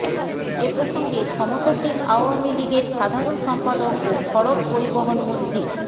এ প্রসঙ্গে ক্ষমতাসীন আওয়ামী লীগের সাধারণ সম্পাদক ও সড়ক পরিবহন মন্ত্রী